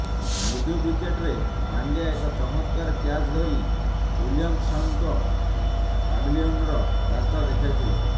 ମିଡ୍ୱିକେଟରେ ପାଣ୍ଡ୍ୟା ଏକ ଚମତ୍କାର କ୍ୟାଚ୍ ଧରି ୱିଲିୟମସନ୍ଙ୍କୁ ପ୍ୟାଭିଲିୟନ୍ର ରାସ୍ତା ଦେଖାଇଥିଲେ